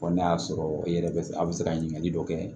Wa n'a y'a sɔrɔ i yɛrɛ bɛ a bɛ se ka ɲininkali dɔ kɛ